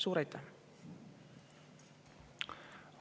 Suur aitäh!